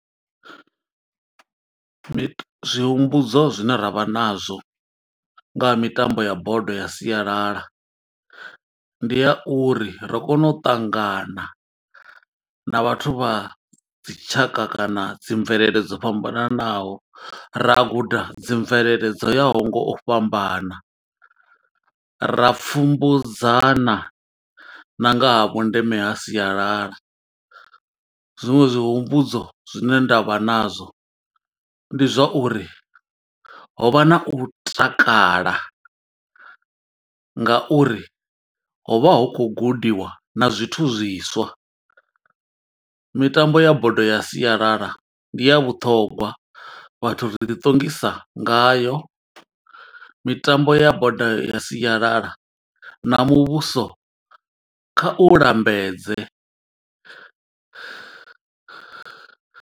Zwi humbudzo zwine ra vha na zwo nga ha mitambo ya bodo ya sialala. Ndi ha uri ri kona u ṱangana na vhathu vha dzi tshaka kana dzi mvelele dzo fhambananaho, ra guda dzi mvelele dzo ya ho ngo u fhambana. Ra pfumbudza na nga ha vhundeme ha sialala, zwiṅwe zwi humbudzo zwine nda vha na zwo ndi zwa uri ho vha na u takala, nga uri ho vha hu khou gudiwa na zwithu zwiswa. Mitambo ya bodo ya sialala, ndi ya vhuṱhongwa. Vhathu ri ḓi ṱongisa ngayo, mitambo ya bodo ya sialala na muvhuso kha u lambedze.